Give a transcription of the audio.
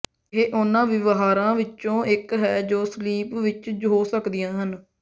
ਇਹ ਉਨ੍ਹਾਂ ਵਿਵਹਾਰਾਂ ਵਿੱਚੋਂ ਇੱਕ ਹੈ ਜੋ ਸਲੀਪ ਵਿੱਚ ਹੋ ਸਕਦੀਆਂ ਹਨ